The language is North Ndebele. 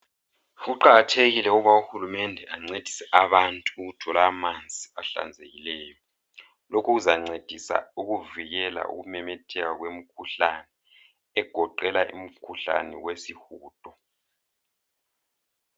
Kuqakathekile ukuba uhulumende ancedise abantu ukuthola amanzi ahlanzekileyo. Lokhu kuzancedisa ukuvikela ukumemetheka kwemikhuhlane egoqela umkhuhlane wesihudo.